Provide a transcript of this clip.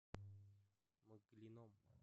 мглином